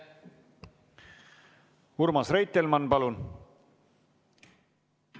Urmas Reitelmann, palun!